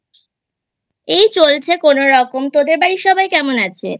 এই চলছে কোনরকম তোদের বাড়ির সবাই কেমন আছে?